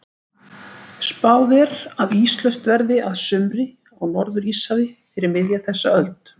Spáð er að íslaust verði að sumri á Norður-Íshafi fyrir miðja þessa öld.